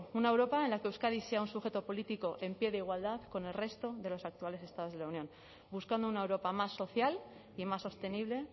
una europa en la que euskadi sea un sujeto político en pie de igualdad con el resto de los actuales estados de la unión buscando una europa más social y más sostenible